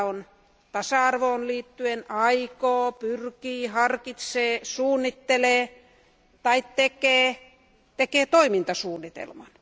Siellä on tasa arvoon liittyen aikoo, pyrkii, harkitsee, suunnittelee tai tekee toimintasuunnitelman.